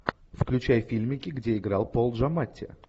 включай фильмики где играл пол джаматти